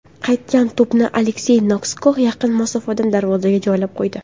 Qaytgan to‘pni Aleksey Nosko yaqin masofadan darvozaga joylab qo‘ydi.